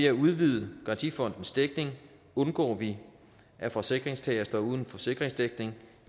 at udvide garantifondens dækning undgår vi at forsikringstagere står uden forsikringsdækning